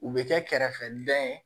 U bɛ kɛ kɛrɛfɛdɛn ye